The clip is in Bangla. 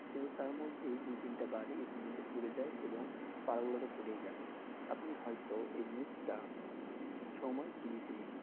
কিন্তু তার মধ্যেই দু তিনটা বাড়ি ইতিমধ্যে পুড়ে যায় এবং তাড়গুলো তো পুড়েই গেলো আপনি হয়তো এই news টা, সময় TV তে দেখে,